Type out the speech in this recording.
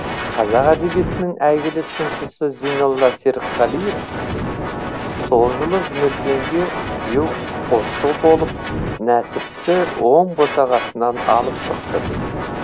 қазақ әдебиетінің әйгілі сыншысы зейнолла серікқалиев сол жылы жұмекенге күйеу қосшы болып нәсіпті оң босағасынан алып шықты